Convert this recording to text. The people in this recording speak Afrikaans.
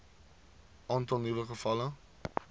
aantal nuwe gevalle